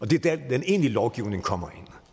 det er der den egentlige lovgivning kommer ind